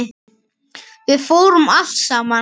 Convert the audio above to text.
Við fórum allt saman.